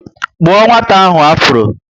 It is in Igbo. Kpuo nwata ahụ afuro!